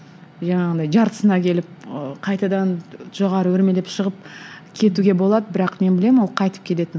жаңағындай жартысына келіп ы қайтадан жоғары өрмелеп шығып кетуге болады бірақ мен білемін ол қайтып келетін